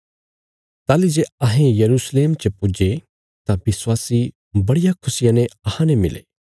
ताहली जे अहें यरूशलेम च पुज्जे तां विश्वासी बड़िया खुशिया ने अहांने मिले